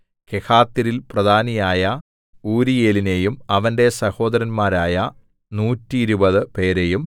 കെഹാത്യരിൽ പ്രധാനിയായ ഊരീയേലിനെയും അവന്റെ സഹോദരന്മാരായ നൂറ്റിരുപത് 120 പേരെയും